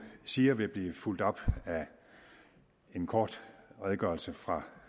siger vil blive fulgt op af en kort redegørelse fra